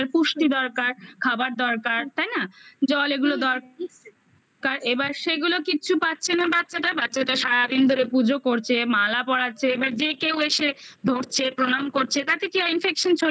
পুষ্টি দরকার খাবার দরকার তাই না জল এগুলো দরকার কারণ এবার সেগুলো কিচ্ছু পাচ্ছে না বাচ্চাটা বাচ্চাটা সারাদিন ধরে পুজো করছে, মালা পরাচ্ছে এবার যে কেউ এসে ধরছে, প্রণাম করছে তাতে কি আর infection ছড়িয়ে